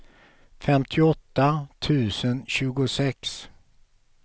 femtioåtta tusen tjugosex